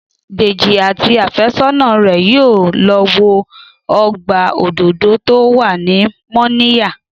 Dèjì àti àfẹ́sọ́nà rẹ̀ yóò lọ wo ọgbà òdòdó tó wà ní Mọ́níyà